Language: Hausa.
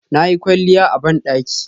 Nayi kwalliya a bandaki